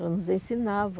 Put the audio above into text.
Ela nos ensinava.